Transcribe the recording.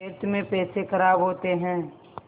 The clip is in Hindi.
व्यर्थ में पैसे ख़राब होते हैं